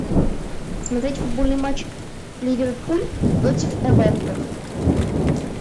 смотреть футбольный матч ливерпуль против эвертон